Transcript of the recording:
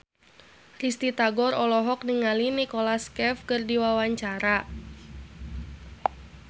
Risty Tagor olohok ningali Nicholas Cafe keur diwawancara